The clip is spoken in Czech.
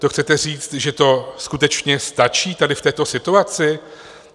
To chcete říct, že to skutečně stačí tady v této situaci?